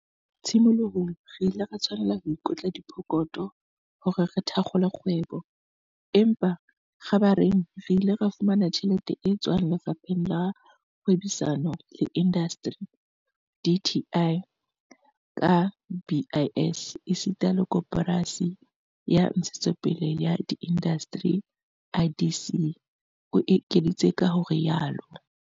"Tshimolohong re ile ra tshwanela ho ikotla pokotho hore re thakgole kgwebo, empa kgabareng re ile ra fumana tjhelete e tswang Lefapheng la Kgwebisano le Indasteri, DTI, ka BIS esita le Koporasi ya Ntshetsopele ya Diindasteri, IDC," o ekeditse ka ho rialo.